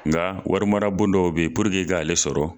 Nga warimara bon dɔw be puruke i k'ale sɔrɔ